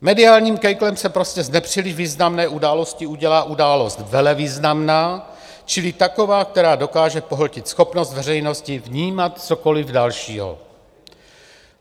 Mediálním kejklem se prostě z nepříliš významné události udělá událost velevýznamná čili taková, která dokáže pohltit schopnost veřejnosti vnímat cokoliv dalšího.